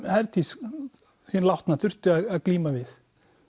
Herdís hin látna þurfti að glíma við